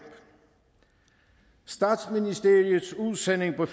statsministeriets udsending på